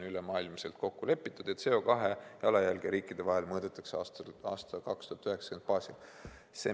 Ülemaailmselt on kokku lepitud, et CO2 jalajälge riikide vahel mõõdetakse 1990. aasta baasil.